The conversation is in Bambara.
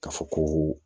K'a fɔ ko